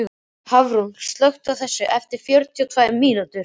Hafrún, slökktu á þessu eftir fjörutíu og tvær mínútur.